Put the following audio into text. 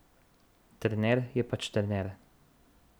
Trener je pač trener.